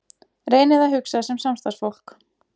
Reynið að hugsa sem samstarfsfólk.